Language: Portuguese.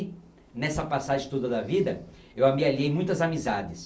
Nessa passagem toda da vida, eu amealhei muitas amizades.